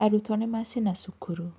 Arutwo nĩ macina cukuru